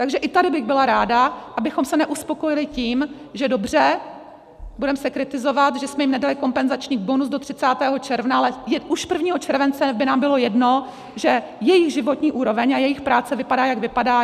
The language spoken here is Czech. Takže i tady bych byla ráda, abychom se neuspokojili tím, že dobře, budeme se kritizovat, že jsme jim nedali kompenzační bonus do 30. června, ale už 1. července by nám bylo jedno, že jejich životní úroveň a jejich práce vypadá, jak vypadá.